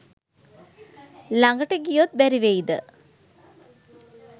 ළඟට ගියොත් බැරි වෙයිද